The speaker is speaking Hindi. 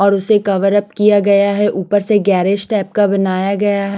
और उसे कवरअप किया गया है ऊपर से गेरेज टाइप का बनाया गया है।